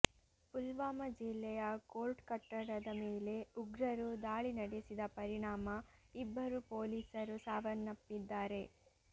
ಪುಲ್ವಾಮ ಜಿಲ್ಲೆಯ ಕೋರ್ಟ್ ಕಟ್ಟಡದ ಮೇಲೆ ಉಗ್ರರು ದಾಳಿ ನಡೆಸಿದ ಪರಿಣಾಮ ಇಬ್ಬರು ಪೊಲೀಸರು ಸಾವನ್ನಪ್ಪಿದ್ದಾರೆ